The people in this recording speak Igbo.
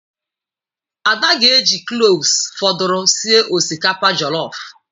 Ada ga-eji kloves fọdụrụ sie osikapa jọlọf.